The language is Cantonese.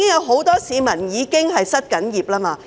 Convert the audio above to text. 很多市民已經失業。